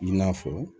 I n'a fɔ